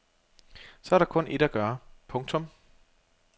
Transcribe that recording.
Så er der kun ét at gøre. punktum